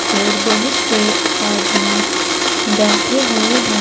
और बहुत से आदमी बैठे हुए हैं।